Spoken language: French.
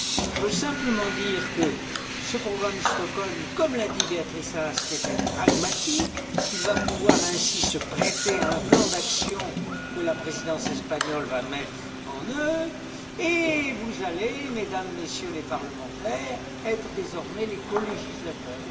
Je veux simplement dire que ce programme de Stockholm, comme l'a dit Beatrice Ask, est très pragmatique, qu'il va pouvoir ainsi se prêter à un plan d'action que la Présidence espagnole va mettre en œuvre, et vous allez, Mesdames, Messieurs les parlementaires, être désormais les colégislateurs.